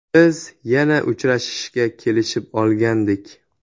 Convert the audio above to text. Biz yana uchrashishga kelishib olgandik.